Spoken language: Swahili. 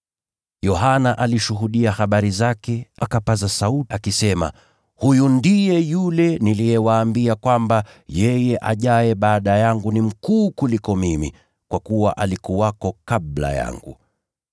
Yohana alishuhudia habari zake, akapaza sauti, akisema, “Huyu ndiye yule niliyewaambia kwamba, ‘Yeye ajaye baada yangu ni mkuu kuniliko mimi, kwa kuwa alikuwepo kabla yangu.’ ”